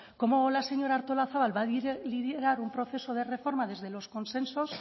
cómo la señora artolazabal va a liderar un proceso de reforma desde los consensos